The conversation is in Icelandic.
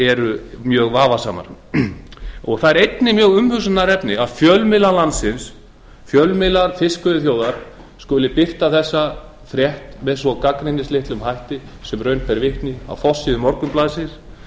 eru mjög vafasamar það er einnig umhugsunarefni að fjölmiðlar landsins fjölmiðlar fiskveiðiþjóðar skuli birta þessa frétt svo gagnrýnislaust sem raun ber vitni á forsíðu morgunblaðsins